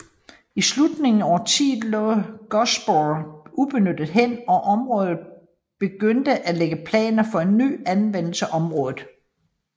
I slutningen af årtiet lå godssporene ubenyttet hen og byrådet begyndte at lægge planer for en ny anvendelse af området